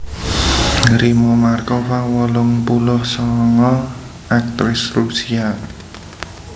Rimma Markova wolung puluh sanga aktris Rusia